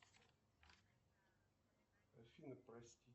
афина прости